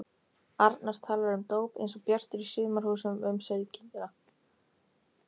arnar talar um dóp einsog Bjartur í Sumarhúsum um sauðkindina.